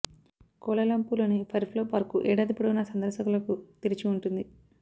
Kuala Lumpur లోని Firefly park ఏడాది పొడవునా సందర్శకులకు తెరిచి ఉంటుంది